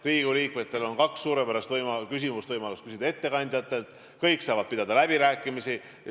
Riigikogu liikmetel on kaks suurepärast võimalust küsida ettekandjatelt, kõik saavad pidada läbirääkimisi.